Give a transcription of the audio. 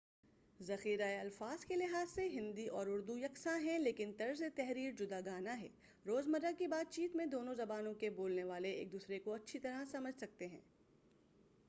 ذخیرۂ الفاظ کے لحاظ سے ہندی اور اردو یکساں ہیں لیکن طرز تحریر جداگانہ ہے روزمرہ کی بات چیت میں دونوں زبانوں کے بولنے والے ایک دوسرے کو اچھی طرح سمجھ سکتے ہیں